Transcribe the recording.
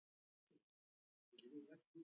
Sum lán færist töluvert neðar.